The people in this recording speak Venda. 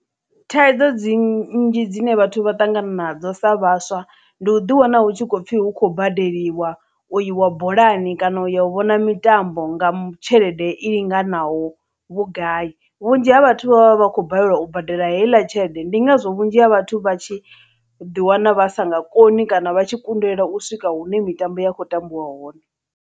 Thaidzo dzi nnzhi dzine vhathu vha ṱangana nadzo sa vhaswa ndi u ḓi wana hu tshi khou pfhi hu khou badeliwa u iwa bolani kana u ya u vhona mitambo nga tshelede i linganaho vhugai vhunzhi ha vhathu vha vha vha khou balelwa u badela heiḽa tshelede ndi ngazwo vhunzhi ha vhathu vha tshi ḓi wana vha sa nga koni kana vha tshi kundelwa u swika hune mitambo ya khou tambiwa hone.